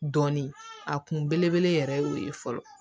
Dɔnni a kun belebele yɛrɛ ye o ye fɔlɔ